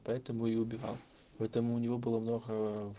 поэтому и убивал поэтому у него было много